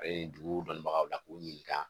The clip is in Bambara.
A ye dugu dɔnnibagaw la k'u ɲininka.